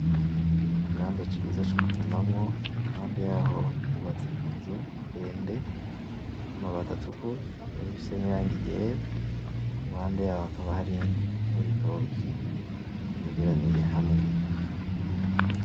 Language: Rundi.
Ikibanza ciza co kurimamwo, iruhande yaho hubatse inzu ndende y'amabati atukura ikaba ifise n'irangi ryera, iruhande yaho hakaba hari n'ibitoki vyegeraniye hamwe.